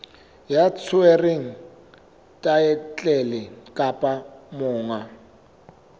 ya tshwereng thaetlele kapa monga